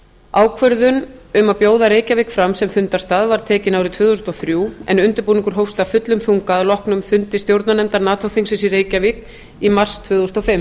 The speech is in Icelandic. ákvörðun um að bjóða reykjavík fram sem fundarstað var tekin árið tvö þúsund og þrjú en undirbúningur hófst af fullum þunga að loknum fundi stjórnarnefndar nato þingsins í reykjavík í mars tvö þúsund og